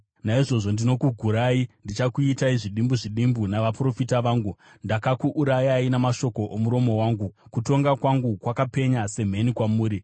Naizvozvo ndinokugurai ndichikuitai zvidimbu zvidimbu navaprofita vangu, ndakakuurayai namashoko omuromo wangu, kutonga kwangu kwakapenya semheni kwamuri.